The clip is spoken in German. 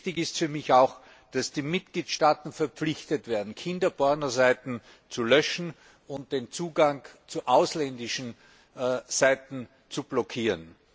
Wichtig ist für mich auch, dass die Mitgliedstaaten verpflichtet werden, Kinderpornoseiten zu löschen und den Zugang zu ausländischen Seiten zu blockieren.